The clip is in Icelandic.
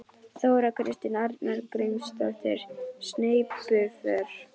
Þóra Kristín Arngrímsdóttir: Sneypuför?